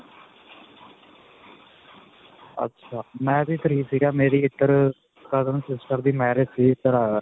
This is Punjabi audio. ਅੱਛਾ. ਮੈਂ ਵੀ free ਸੀਗਾ ਮੇਰੀ ਇੱਧਰ ਅਅ cousin sister ਦੀ marriage ਸੀ ਇੱਧਰ ਆਇਆ ਸੀ.